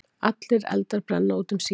Allir eldar brenna út um síðir.